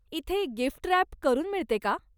इथे gift wrap करून मिळते का?